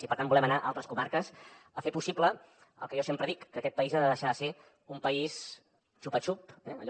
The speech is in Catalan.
i per tant volem anar a altres comarques a fer possible el que jo sempre dic que aquest país ha de deixar de ser un país xupa xups allò